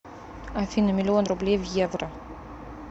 афина миллион рублей в евро